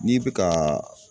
N'i bɛ ka